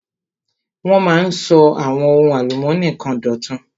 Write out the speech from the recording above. Wọ́n máa ń sọ àwọn ohun álùmónì kan dọ̀tun.